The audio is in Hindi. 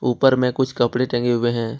ऊपर में कुछ कपड़े टंगे हुए हैं।